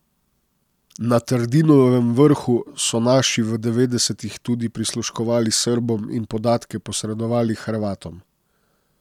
Na Trdinovem vrhu so naši v devetdesetih tudi prisluškovali Srbom in podatke posredovali Hrvatom.